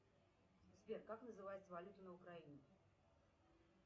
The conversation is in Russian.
сбер как называется валюта на украине